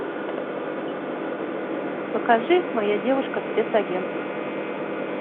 покажи моя девушка спецагент